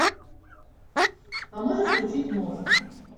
а можешь включить мост